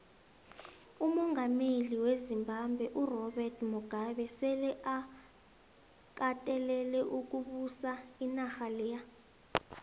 umongameli wezimbabwe urobert mugabe sele akatelele ukubusa inarha leya